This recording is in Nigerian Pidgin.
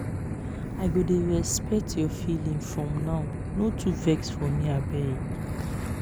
i go dey respect your feeling from now no too vex for me abeg.